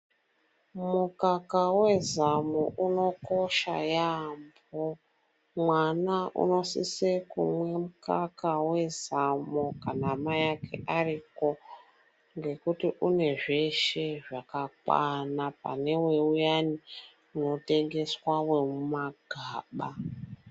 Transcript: Mukaka wezamo unokosha yaambo mwana unosise kumwe mukaka wezamo kana mai ake ariko ngekuti une zveshe zvakakwana pane uyana unotengeswa wemumagaba.